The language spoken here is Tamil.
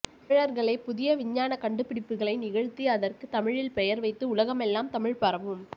தமிழர்களே புதிய விஞ்ஞான கண்டுபிடிப்புகளை நிகழ்த்தி அதற்கு தமிழில் பெயர் வைத்து உலகமெல்லாம் தமிழ் பரவும்